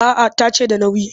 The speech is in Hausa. A'a ta ce da nauyi